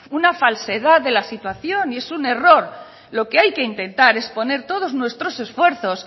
una falsedad de la situación y es un error lo que hay que intentar es poner todos nuestros esfuerzos